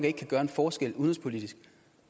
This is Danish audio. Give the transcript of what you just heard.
ikke kan gøre en forskel udenrigspolitisk